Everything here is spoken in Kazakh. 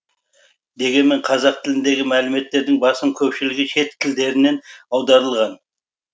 дегенмен қазақ тіліндегі мәліметтің басым көпшілігі шет тілдерінен аударылған